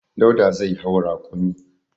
Dauda zai hau rakumi.